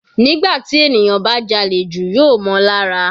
Nígbà tí ènìyàn bá jalè jù yóò mọ́ on lára.